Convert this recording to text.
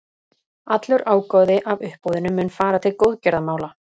Allur ágóði af uppboðinu mun fara til góðgerðamála.